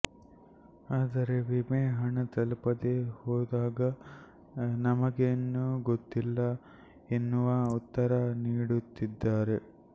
ಆದರೆ ವಿಮೆ ಹಣ ತಲುಪದೇ ಹೋದಾಗ ನಮಗೇನು ಗೊತ್ತಿಲ್ಲ ಎನ್ನುವ ಉತ್ತರ ನೀಡುತ್ತಿದ್ದಾರೆ